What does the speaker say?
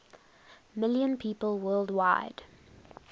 million people worldwide